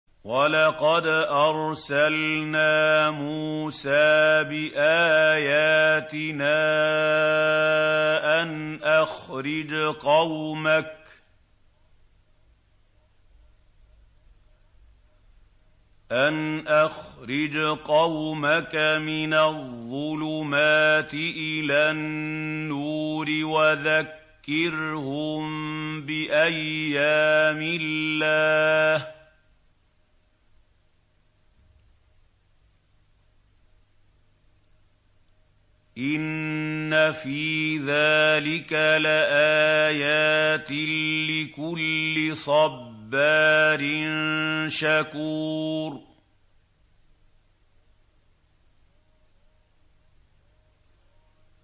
وَلَقَدْ أَرْسَلْنَا مُوسَىٰ بِآيَاتِنَا أَنْ أَخْرِجْ قَوْمَكَ مِنَ الظُّلُمَاتِ إِلَى النُّورِ وَذَكِّرْهُم بِأَيَّامِ اللَّهِ ۚ إِنَّ فِي ذَٰلِكَ لَآيَاتٍ لِّكُلِّ صَبَّارٍ شَكُورٍ